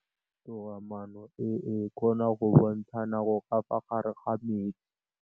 Toga-maanô e, e kgona go bontsha nakô ka fa gare ga metsi.